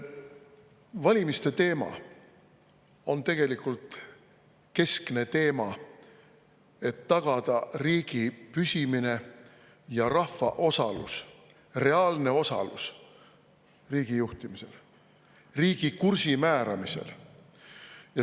Valimiste teema on tegelikult keskne teema, et tagada riigi püsimine ja rahva reaalne osalus riigi juhtimisel, riigi kursi määramisel.